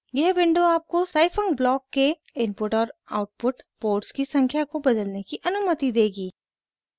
यह विंडो आपको scifunc block के इनपुट और आउटपुट पोर्ट्स की संख्या को बदलने की अनुमति देगी